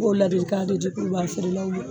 n m'o ladilikan de di kurubaga feere law ma.